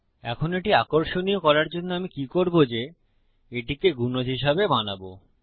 এখন এটি আকর্ষণীয় করার জন্য আমি কি করবো যে এটিকে গুনজ হিসাবে বানাবো